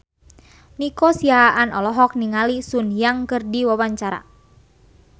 Nico Siahaan olohok ningali Sun Yang keur diwawancara